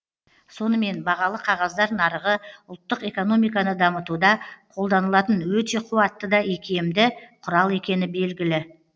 сонымен бағалы қағаздар нарығы ұлттық экономиканы дамытуда қолданылатын өте қуатты да икемді құрал екені белгілі